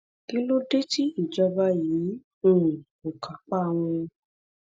kí ló dé tí ìjọba yìí um kò kápá wọn